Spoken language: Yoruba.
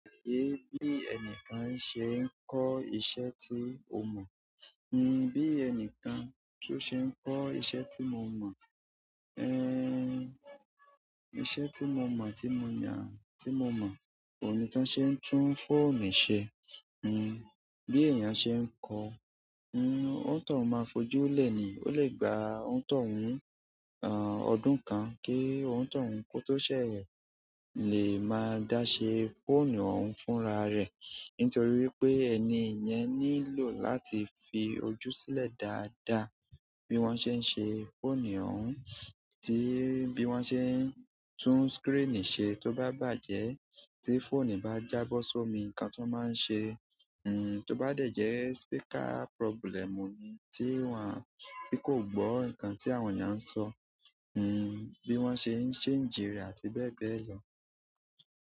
Èébi ènìkan ṣe ń kọ́ iṣẹ́ tí ó mọ̀. N bi ènìkan tó ṣe ń kọ́ iṣẹ́ tí mo mọ̀, eh, iṣẹ́ tí mo mọ̀ tí mo yan, tí mo mọ̀, òhun ni ti wón ṣe ń tún fóònù ṣe. N bí èèyàn ṣe ń kọ́, n onítòhún máa fojú lẹ̀ ni. Ó lè gba òuntohun, àn, ọdún kan kí ountohun kó tó ṣẹ̀, lè máa dá ṣe fóònù òun fúnra rẹ̀. Nítorí wípé ẹni yẹn nílò láti fi ojú sílẹ̀ dáadáa bí wọ́n ṣe ń ṣe fóònù òun, tí bí wọ́n ṣe ń tún screen ṣe tó bá bàjẹ́. Tí fóònù bá jábọ́ sómi, nǹkan tó máa ń ṣe. N tó bá dẹ̀jẹ́ speaker problem ni tí wọ́n, tí kò gbọ́ nǹkan tí àwọn èèyàn ń sọ. N bí wọ́n ṣe ń change re àti bẹ́ẹ̀ bẹ́ẹ̀ lọ.